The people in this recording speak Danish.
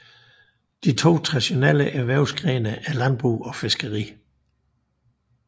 De to traditionelle erhvervsgrene er landbrug og fiskeri